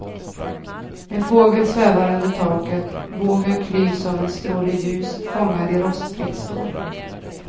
En fågel svävar under taket, vågen klyvs av en stråle ljus, fångad i rostfritt stål.